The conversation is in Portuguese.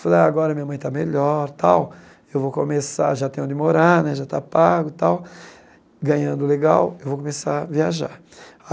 Falei, agora minha mãe está melhor tal, eu vou começar já tenho onde morar né, já estou pago tal, ganhando legal, vou começar a viajar.